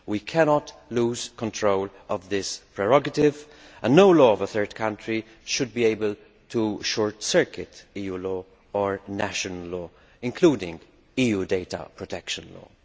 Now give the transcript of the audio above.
We cannot lose control of this prerogative, and no law of a third country should be able to short circuit EU law or national law, including EU data protection law.